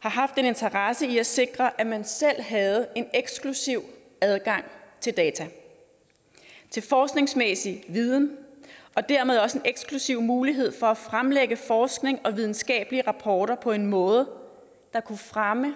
har haft en interesse i at sikre at man selv havde en eksklusiv adgang til data til forskningsmæssig viden og dermed også en eksklusiv mulighed for at fremlægge forskning og videnskabelige rapporter på en måde der kunne fremme